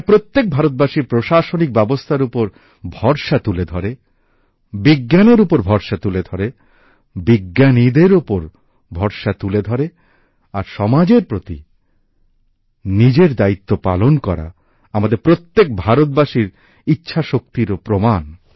প্রত্যেক ভারতবাসীর প্রশাসনিক ব্যবস্থার উপর ভরসা এর মাধ্যমে তুলে ধরে বিজ্ঞানের উপর ভরসা করে বিজ্ঞানীদের উপর আস্থা রেখে আর সমাজের প্রতি নিজের দায়িত্ব পালন করা আমাদের প্রত্যেক ভারতবাসীর ইচ্ছাশক্তির প্রমাণও